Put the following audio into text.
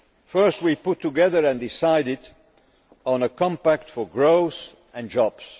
First, we put together and decided on a Compact for Growth and Jobs.